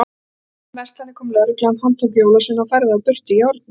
Í fimm verslanir kom lögreglan, handtók jólasveina og færði þá burt í járnum.